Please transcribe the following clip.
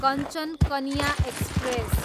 Kanchan Kanya express